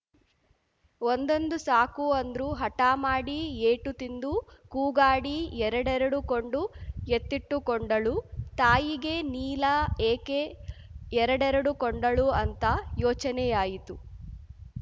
ಒಂದೊಂದು ಸಾಕು ಅಂದ್ರು ಹಠ ಮಾಡಿ ಏಟು ತಿಂದು ಕೂಗಾಡಿ ಎರಡೆರಡು ಕೊಂಡು ಎತ್ತಿಟ್ಟುಕೊಂಡಳು ತಾಯಿಗೆ ನೀಲ ಏಕೆ ಎರಡೆರಡು ಕೊಂಡಳು ಅಂತ ಯೋಚನೆಯಾಯಿತು